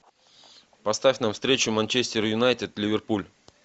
поставь нам встречу манчестер юнайтед ливерпуль